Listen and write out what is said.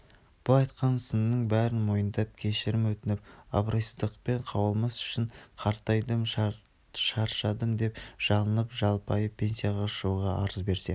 бұл айтқан сынның бәрін мойындап кешірім өтініп абройсыздықпен қуылмас үшін қартайдым шаршадым деп жалынып-жалпайып пенсияға шығуға арыз берсе